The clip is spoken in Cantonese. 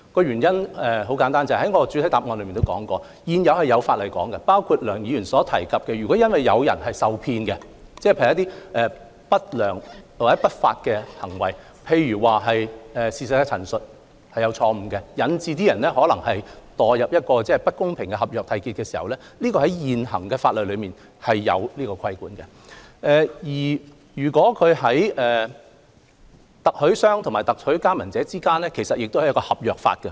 原因很簡單，我在主體答覆亦有提及，在現行法例中，如發生梁議員所述有人基於另一締約方的不良或不法行為而受騙，例如錯誤陳述引致他們墮入不公平的合約締結陷阱，現行法例是有所規管的，而特許經營商與特許加盟者之間也受合約法規管。